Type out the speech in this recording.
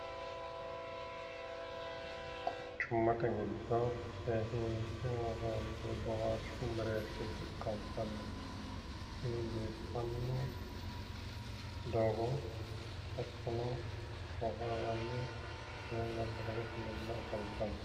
quchummate giddo seesiinse worroonni boohaarshu mereershubba afantanno doogo hattono lamu manni haranni afantanno.